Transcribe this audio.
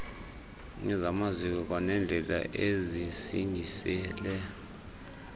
ezamaziko kwaneendlela ezisingisele